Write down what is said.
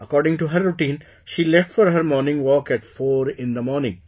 According to her routine, she left for her morning walk at 4 in the morning